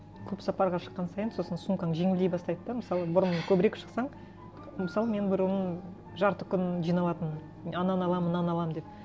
көп сапарға шыққан сайын сосын сумкаң жеңілдей бастайды да мысалы бұрын көбірек шықсаң мысалы мен бұрын жарты күн жиналатынмын ананы аламын мынаны аламын деп